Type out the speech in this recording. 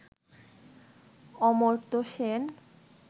Amartya Sen,